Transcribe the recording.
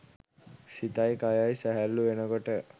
සිතයි කයයි සැහැල්ලූ වෙන කොට